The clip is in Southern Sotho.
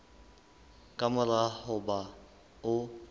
ka mora ho ba o